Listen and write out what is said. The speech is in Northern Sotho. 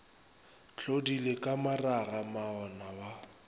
tlodile ka maraga moana wa